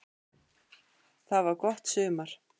Það var gott sumar.